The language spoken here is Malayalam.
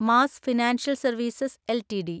mass financial services LTD